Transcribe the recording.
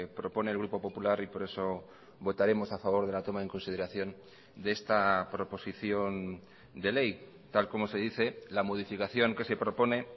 propone el grupo popular y por eso votaremos a favor de la toma en consideración de esta proposición de ley tal como se dice la modificación que se propone